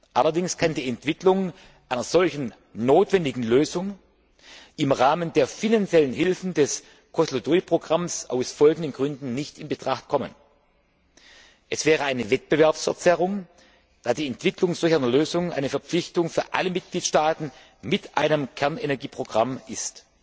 Allerdings kann die Entwicklung einer solchen notwendigen Lösung im Rahmen der finanziellen Hilfen des Kozloduj Programms aus folgenden Gründen nicht in Betracht kommen Es wäre eine Wettbewerbsverzerrung, da die Entwicklung solch einer Lösung eine Verpflichtung für alle Mitgliedstaaten mit einem Kernenergieprogramm ist.